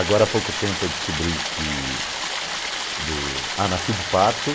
Agora há pouco tempo eu descobri que do... Ah, nasci de parto.